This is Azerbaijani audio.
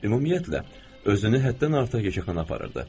Ümumiyyətlə, özünü həddən artıq yekəxana aparırdı.